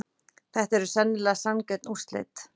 Þetta eru sennilega sanngjörn úrslit.